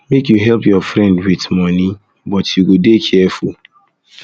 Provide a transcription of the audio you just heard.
make you help your friend wit your friend wit moni um but you go dey careful